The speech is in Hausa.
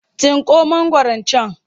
Tsinko mangwaron can!